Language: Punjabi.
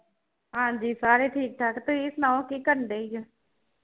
ਹਾਜੀ ਸਾਰੇ ਠੀਕ ਠਾਕ ਤੁਸੀ ਸੁਣਾਓ ਕੀ ਕਰਨ ਦੇ ਜੇ